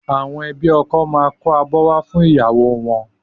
Àwọn ẹbí ọkọ máa kó abọ́ wá fún ìyàwó wọn